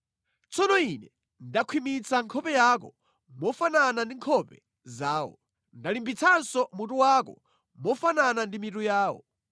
Tsono ine ndakhwimitsa nkhope yako mofanana ndi nkhope zawo. Ndalimbitsanso mutu wako mofanana ndi mitu yawo.